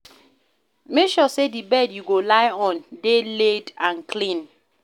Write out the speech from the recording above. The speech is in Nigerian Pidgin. Make sure say di bed you go lie on de laid and clean